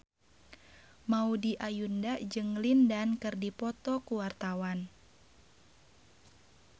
Maudy Ayunda jeung Lin Dan keur dipoto ku wartawan